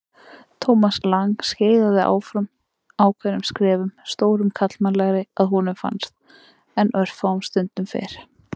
Thomas Lang skeiðaði áfram ákveðnum skrefum, stórum karlmannlegri að honum fannst en örfáum stundum fyrr.